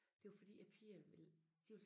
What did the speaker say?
Det var fordi æ piger ville de ville